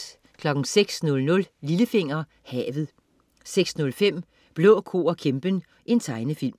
06.00 Lillefinger. Havet 06.05 Blå ko og kæmpen. Tegnefilm